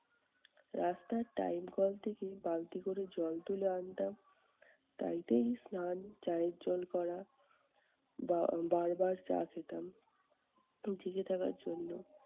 রাস্তার টাইল কল থেকে বালতি করে জল তুলে আনতাম তাইতেই স্নান, চায়ের জল করা বা আহ বারবার চা খেতাম, জেগে থাকার জন্য।